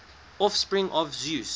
offspring of zeus